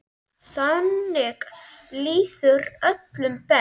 Þannig líður öllum best.